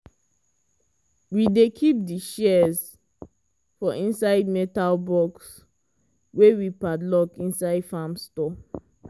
we dey keep di shears for inside metal box wey we padlock inside farm store.